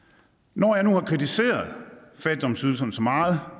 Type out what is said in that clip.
når jeg nu har kritiseret fattigdomsydelserne så meget